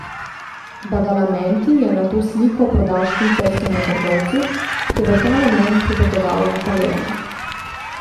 Badalamenti je nato sliko prodal švicarskemu trgovcu, ki je v ta namen pripotoval v Palermo.